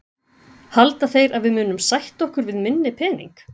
Halda þeir að við munum sætta okkur við minni pening?